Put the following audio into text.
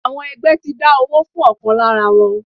Àwọn ẹgbẹ́ ti dá owó fún ọ̀kan lára wọn.